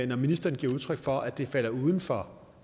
når ministeren giver udtryk for at det falder uden for